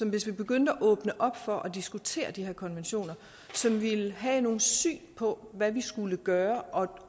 hvis vi begyndte at åbne op for at diskutere de her konventioner som ville have nogle syn på hvad vi skulle gøre